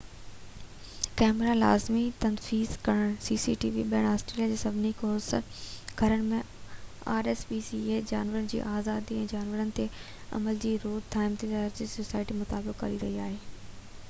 جانورن جي آزادي ۽ جانورن تي ظلم جي روڪ ٿام لاءِ رائل سوسائٽي rspca ٻيهر آسٽريليا جي سڀني ڪوس گھرن ۾ cctv ڪئميرا لازمي تنصيب ڪرڻ جو مطالبو ڪري رهي آهي